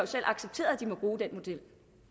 selv accepteret at de må bruge den model